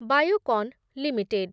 Biocon limited